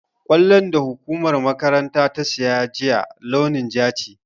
Ƙwallon da hukumar makarantar ta siya juya, launin ja ce.